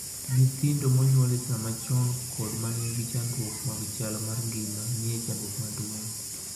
Nyithindo ma onyuol e samachon kod manigi chandruok mag chal mar ngima nie chandruok maduong'